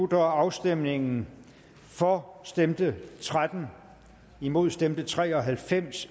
afstemningen for stemte tretten imod stemte tre og halvfems